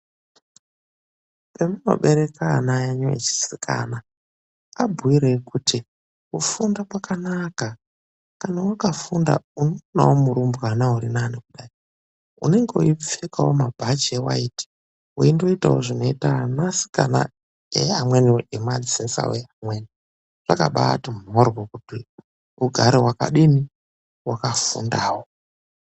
Zvamunobereka ana enyu echisikana abhuireyi kuti kufunda kwakanaka, kana wakafunda unoonawo murumbwana urinani kudai. Unenge weipfekawo mabhachi ewiyiti, weindoitawo zvinoita anasikana eamweniwo emadzinza vekumweni. Zvakabaati mhorhyo kuti ugare wakadini, wakafundawo.